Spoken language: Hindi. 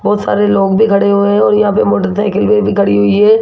बहुत सारे लोग भी खड़े हुए हैं और यहां पे मोटरसाइकिलें खड़ी हुई है।